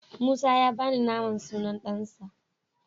Musa ya bani naman sunan ɗansa.